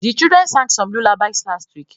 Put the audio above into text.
The children sang some lullabies last week